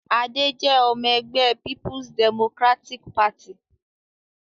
Adé jẹ́ ọmọ-ẹgbẹ́ Peoples Democratic Party.